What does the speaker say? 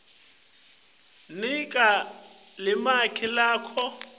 nika limaki lalawo